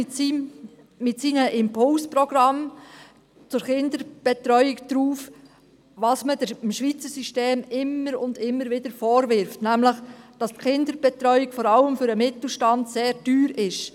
Mit seinem Impulsprogramm zur Kinderbetreuung reagiert der Bund auf das, was man dem Schweizer System immer und immer wieder vorwirft, nämlich, dass die Kinderbetreuung vor allem für den Mittelstand sehr teuer ist.